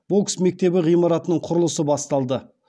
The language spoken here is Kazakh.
бокс мектебі ғимаратының құрылысы басталды